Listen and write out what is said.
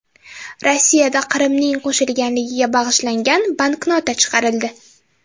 Rossiyada Qrimning qo‘shilganligiga bag‘ishlangan banknota chiqarildi.